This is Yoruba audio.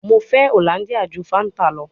Mo fẹ Hollandia ju Fanta lọ